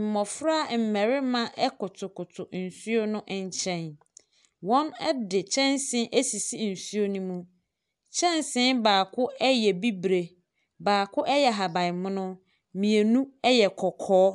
mmɔfra mmɛrima ɛkotokoto nsuo no nkyɛn. Wɔn ɛde kyɛnsee asisi nsuo ne mu. Kyɛnsee baako ɛyɛ bibire, baako ɛyɛ ahaban mono, mmienu ɛyɛ kɔkɔɔ.